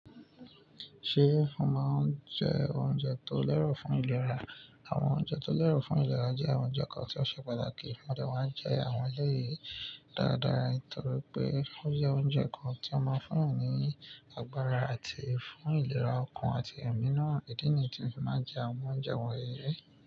Ṣé o máa ń jẹ oúnjẹ tó lẹ́rọ̀ fún ìlera? Àwọn oúnjẹ tó lẹ́rọ̀ fún ìlera jẹ́ àwọn oúnjẹ kan tí ó ṣe pàtàkì. A dẹ̀ wá ń jẹ àwọn eléyìí dáadáa torí pé ó jẹ́ oúnjẹ kan tí ó máa ń fún eyan ní agbára àti fún ìlera ọkàn àti òmìnira. Ìdí nìyí tí mo máa ń jẹ àwọn oúnjẹ wọ̀nyí ri.